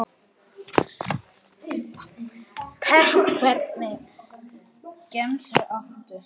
pepp Hvernig gemsa áttu?